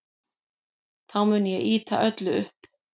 Þá mun ég ýta öllu upp.